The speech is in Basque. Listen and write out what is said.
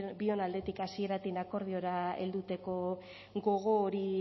bion aldetik hasieratik akordiora helduteko gogo hori